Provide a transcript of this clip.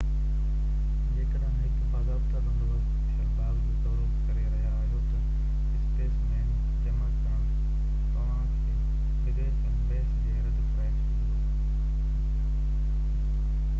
جيڪڏهن هڪ باضابطه بندوبست ٿيل باغ جو دورو ڪري رهيا آهيو ته اسپيسيمين جمع ڪرڻ توهانکي بغير ڪنهن بحث جي رد ڪرائي ڇڏيندو